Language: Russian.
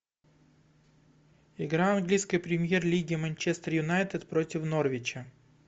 игра английской премьер лиги манчестер юнайтед против норвича